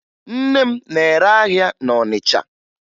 Nne m na-ere ahịa na Ọnịcha